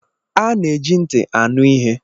A na-eji ntị anụ ihe